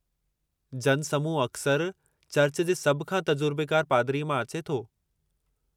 जनसमूह अक्सरि चर्च जे सभ खां तजुर्बेकारु पादरीअ मां अचे थो।